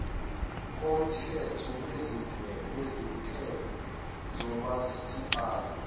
komthetho wezinhlelo zomasipala